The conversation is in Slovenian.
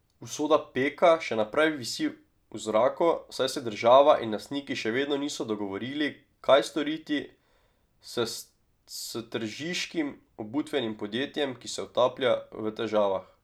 Usoda Peka še naprej visi v zraku, saj se država in lastniki še vedno niso dogovorili, kaj storiti s s tržiškim obutvenim podjetjem, ki se utaplja v težavah.